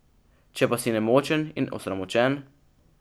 Če pa si nemočen in osramočen ...